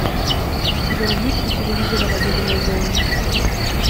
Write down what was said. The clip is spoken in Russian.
замьють у телевизора в обеденной зоне